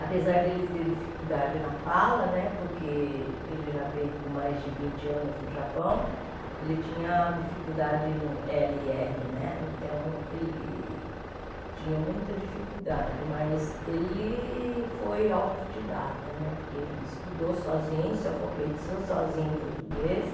Apesar dele ter dificuldade na fala, porque ele já veio com mais de vinte anos do Japão, ele tinha dificuldade no éle e érre né, então ele tinha muita dificuldade, mas ele foi autodidata né, porque ele estudou sozinho, se alfabetizou sozinho em português.